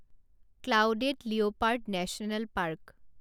clouded leopard national park